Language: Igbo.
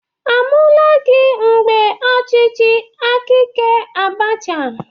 A mụlagị mgbe ọchịchị akaike Abacha?